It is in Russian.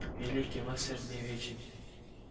великий мастер не вечен